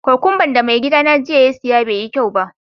Kokwamba'n da mai gidy na ya saya jiya bai yi kyau ba.